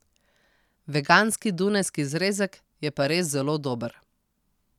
Veganski dunajski zrezek je pa res zelo dober.